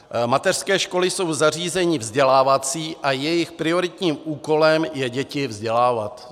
Mateřské školy jsou zařízení vzdělávací a jejich prioritním úkolem je děti vzdělávat.